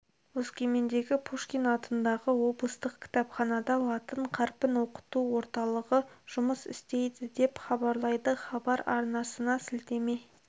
өскемендегі пушкин атындағы облыстық кітапханада латын қарпін оқыту орталығы жұмыс істейді деп хабарлайды хабар арнасына сілтеме